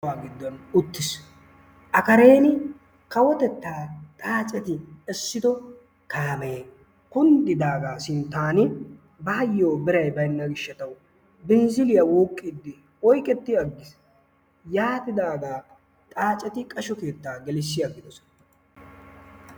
kuwa giddon uttiis. a kareen kawotetta xaacetti essido kaamee kunddidaaga sinttan bayyo biray baynna gishshataw binzziliya wuuqqidi oyqqeti aggiis. yaatidaaga xaaceti qashsho keetta gelissi agidoosona.